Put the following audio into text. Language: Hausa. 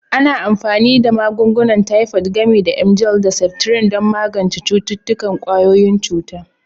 Ana amfani da magungunan Tifod, gami da emgyl da septrin, don magance cututtukan ƙwayoyin cuta.